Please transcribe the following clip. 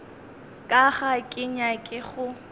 ka ga ke nyake go